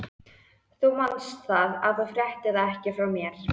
Þú manst það, að þú fréttir þetta ekki frá mér.